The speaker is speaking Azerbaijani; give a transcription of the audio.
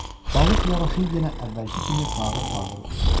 Balıq yavaşıyıb yenə əvvəlki kimi fağır-fağır üzürdü.